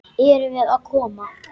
Erum við að koma?